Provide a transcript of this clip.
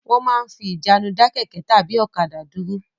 Wọ́n máa ń fi ìjánu dá kẹ̀kẹ́ tàbí ọ̀kadà dúró.